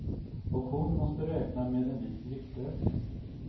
Och hon måste räkna med en viss viktökning.